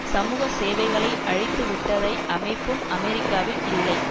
சமூக சேவைகளை அழித்து விட்டதை அமைப்பும் அமெரிக்காவில் இல்லை